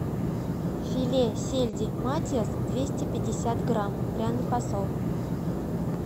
филе сельди матиас двести пятьдесят грамм пряный посол